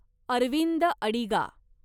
Arvind Adiga